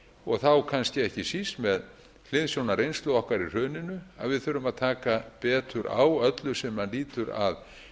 og þá kannski ekki síst með hliðsjón af reynslu okkar í hruninu að við þurfum að taka betur á öllu sem lýtur að